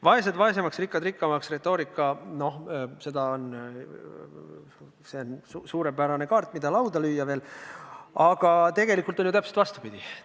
Vaesed vaesemaks, rikkad rikkamaks retoorika – noh, see on suurepärane kaart, mida lauda lüüa, aga tegelikult on ju täpselt vastupidi.